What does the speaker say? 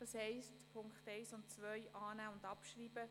Das heisst: Punkte 1 und 2 annehmen und abschreiben.